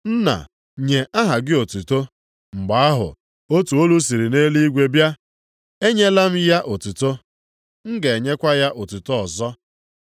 Nna, nye aha gị otuto.” Mgbe ahụ, otu olu siri nʼeluigwe bịa, “Enyela m ya otuto, m ga-enyekwa ya otuto ọzọ.”